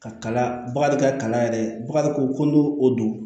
Ka kala bakari ka kalan yɛrɛ bakari ko n'o o don